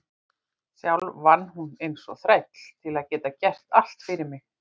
Sjálf vann hún eins og þræll til að geta gert allt fyrir mig.